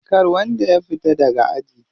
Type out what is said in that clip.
Kar wanda ya fita daga aji.